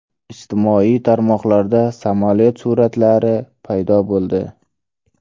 Ijtimoiy tarmoqlarda samolyot suratlari paydo bo‘ldi.